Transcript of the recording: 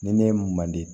Ni ne ye mun man di